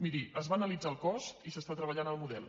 miri se’n va analitzar el cost i s’està treballant el model